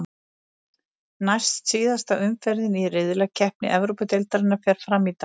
Næst síðasta umferðin í riðlakeppni Evrópudeildarinnar fer fram í dag.